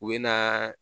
U bɛ na